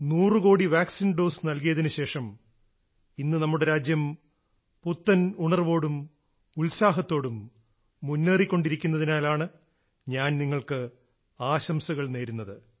നൂറു കോടി vaccine dose നൽകിയതിനു ശേഷം ഇന്ന് നമ്മുടെ രാജ്യം പുത്തൻ ഉണർവോടും ഉത്സാഹത്തോടും മുന്നേറിക്കൊണ്ടിരിക്കുന്നതിനാലാണ് ഞാൻ നിങ്ങൾക്ക് ആശംസകൾ നേരുന്നത്